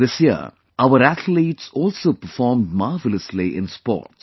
This year our athletes also performed marvellously in sports